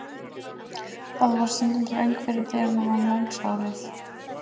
Þar varð stundum þröng fyrir dyrum í morgunsárið.